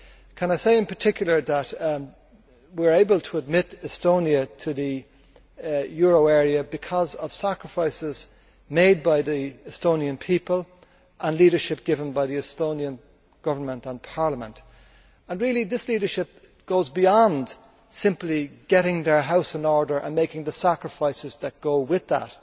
Can I say in particular that we are able to admit Estonia to the euro area because of sacrifices made by the Estonian people and the leadership given by the Estonian Government and Parliament. This leadership goes beyond simply putting their house in order and making the sacrifices that go with that.